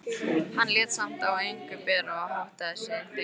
Hann lét samt á engu bera og háttaði sig þegjandi.